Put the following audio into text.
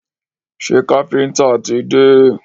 Ṣé káfíńńtà ti dé?